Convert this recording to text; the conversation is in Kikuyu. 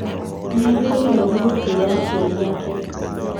Nĩagĩrĩirwo nĩ gũtĩa aciari ake